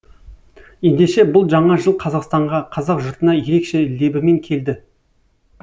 ендеше бұл жаңа жыл қазақстанға қазақ жұртына ерекше лебімен келді